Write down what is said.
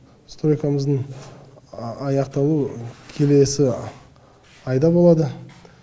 стройкамыздың аяқталуы келесі айда болады